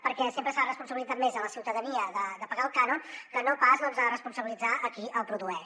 perquè sempre s’ha responsabilitzat més la ciutadania de pagar el cànon que no pas responsabilitzar qui el produeix